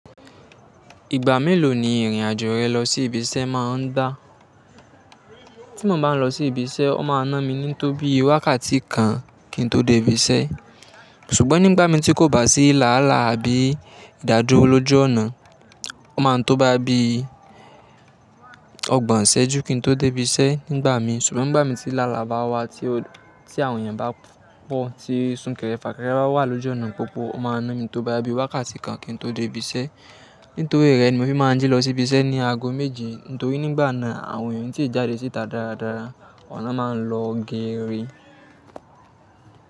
Ìgbà mélòó ni ìrìn-àjò rẹ lọ sí ibi iṣẹ́ máa ń gbà? Tí mo bá ń lọ sí ibi iṣẹ́, ó máa ń ná mi ní tó bí wákàtí kan kí n tó dé ibi iṣẹ́. Ṣùgbọ́n nígbà míì tí kò bá sí làálàá àbí ìdádúró lójú ọ̀nà, ó máa ń tó bóyá bí ọgbọ̀n ìṣẹ́jú kí n tó débi iṣẹ́ nígbà míì. Ṣùgbọ́n nígbà mi tí làálàá bá wà tí àwọn èèyàn bá pọ̀ tí súnkẹrẹ fàkẹrẹ bá wà lójú ọ̀nà pópó, ó máa ń ná mi tó bóyá bí wákàtí kan kí n tó débi iṣẹ́. Nítorí rẹ̀ ni mo fi máa ń jí lọ sí ibi iṣẹ́ ní aago méje. Nítorí nígbà náà àwọn èèyàn ò ní tíì jáde síta dáradára, ọ̀nà máa ń lọ géèrè.